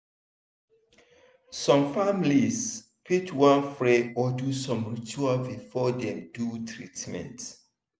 some families fit wan pray or do some ritual before dem do treatment.